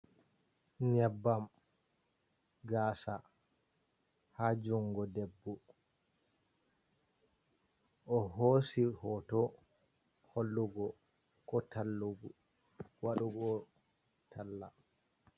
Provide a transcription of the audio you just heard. Nyebbam gaasa ha jungo debbo, o hosi hooto hollugo ko tall waɗugo talla.